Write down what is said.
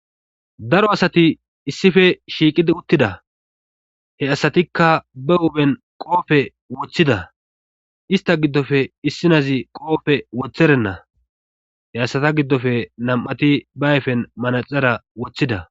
daro asati issife shiiqidi uttida he asatikka ba upheen qoofe woththida ista giddofe issinazi qoofe woththerenna he asata giddofe nam7ati ba ayfen manaxara woththida